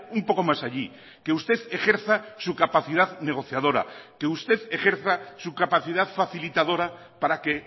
un poco más allí que usted ejerza su capacidad negociadora que usted ejerza su capacidad facilitadora para que